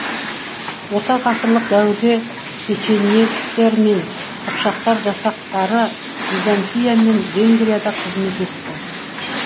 орта ғасырлық дәуірде печенегтер мен қыпшақтар жасақтары византия мен венгрияда қызмет етті